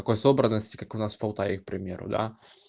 такой собранности как у нас в полтаве к примеру да